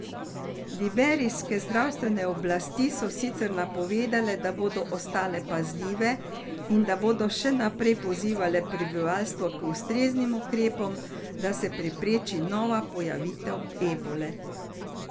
Liberijske zdravstvene oblasti so sicer napovedale, da bodo ostale pazljive in da bodo še naprej pozivale prebivalstvo k ustreznim ukrepom, da se prepreči nova pojavitev ebole.